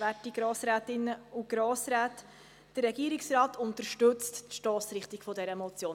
Der Regierungsrat unterstützt die Stossrichtung dieser Motion.